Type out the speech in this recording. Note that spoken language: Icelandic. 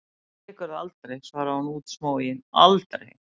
Ég segi ykkur það aldrei, svarði hún útsmogin, aldrei!